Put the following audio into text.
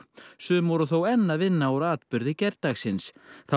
sum voru þó enn að vinna úr atburði gærdagsins